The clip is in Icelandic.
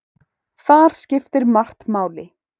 Þar skiptir margt máli.